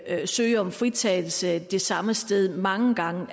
søge om fritagelse det samme sted mange gange